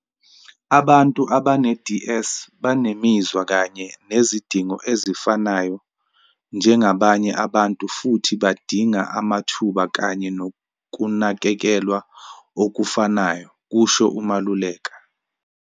Abantu abane-DS banemizwa kanye nezidingo ezifanayo njengabanye abantu futhi badinga amathuba kanye nokunakekelwa okufanayo," kusho uMaluleka.